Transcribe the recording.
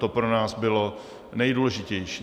To pro nás bylo nejdůležitější.